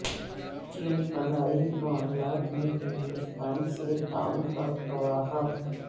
چین خلائی معاملات میں ہندوستان سے تعاون کا خواہاں